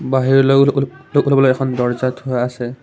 বাহিৰলৈ ওলাবলৈ এখন দৰ্জ্জা থোৱা আছে।